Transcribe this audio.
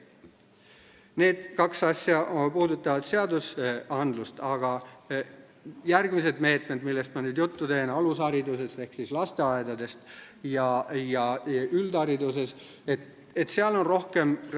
Need kaks asja puudutavad seadusi, aga järgmised meetmed, millest ma nüüd juttu teen, käivad alushariduse ehk lasteaedade ja üldhariduse kohta.